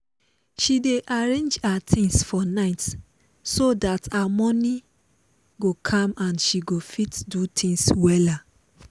she dey arrange her things for night so that her morning go calm and she go fit do things wella